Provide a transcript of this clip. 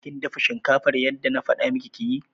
Kin dafa shinkafar yadda na faɗa miki ki yi?